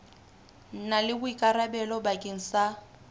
na le boikarabelo bakeng sa